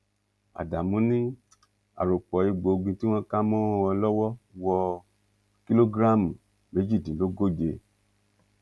ádámù ni àròpọ egbòogi tí wọn kà mọ wọn lọwọ wo kìlógíráàmù méjìdínlógóje